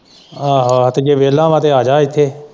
ਆਹੋ-ਆਹੋ ਜੇ ਵਿਹਲਾ ਵਾ ਤੇ ਆਜਾ ਇੱਥੇ।